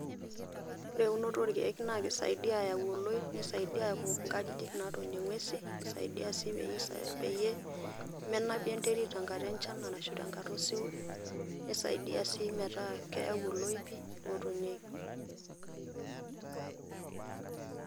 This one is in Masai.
Ore eunoto orkeek na kisaidia aau oloip, nisaidia aau inkajijik natonie ng'uesin, saidia si peyie menapi enterit tenkata enchan arashu tenkata osiwuo. Nisaidia si metaa keyau iloipi otonieki.